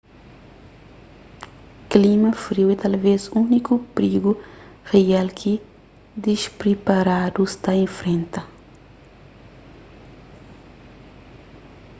klima friu é talvez úniku prigu rial ki dispriparadus ta infrenta